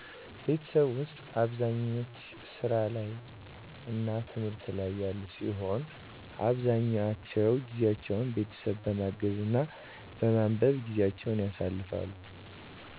ቤተሠብ ውስጥ አብዛኛች ሥራ እና ትምህት ላይ ያሉ ሲሆን አብዛኛውን ጊዜቸውን ቤተሠብ በማገዝ እና በማንበብ ጊዜቸውን ያሳልፍሉ